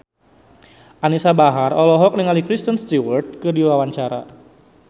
Anisa Bahar olohok ningali Kristen Stewart keur diwawancara